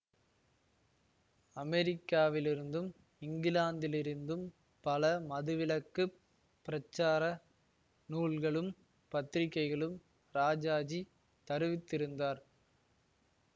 அமெரிக்காவிலிருந்தும் இங்கிலாந்திலிருந்தும் பல மதுவிலக்குப் பிரச்சார நூல்களும் பத்திரிகைகளும் ராஜாஜி தருவித்திருந்தார்